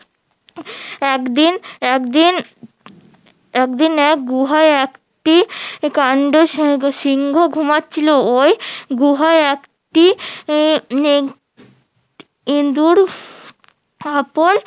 একদিন একদিন একদিন এক গুহায় একটি কান্ড সিংহ~ সিংহ ঘুমাচ্ছিলো ওই গুহায় একটি নেং ইন্দুর